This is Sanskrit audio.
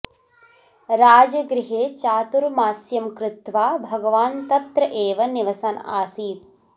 राजगृहे चातुर्मास्यं कृत्वा भगवान् तत्र एव निवसन् आसीत्